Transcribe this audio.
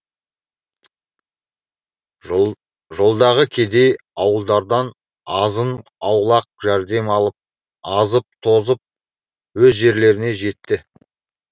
жолдағы кедей ауылдардан азын аулақ жәрдем алып азып тозып өз жерлеріне жетті